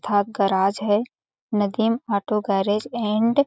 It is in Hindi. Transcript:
अर्थात गराज है नदीम ऑटो गैरेज एंड --